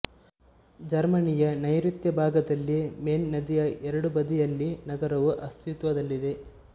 ಜರ್ಮನಿಯ ನೈರುತ್ಯ ಭಾಗದಲ್ಲಿ ಮೇನ್ ನದಿಯ ಎರಡೂ ಬದಿಯಲ್ಲಿ ನಗರವು ಅಸ್ತಿತ್ವದಲ್ಲಿದೆ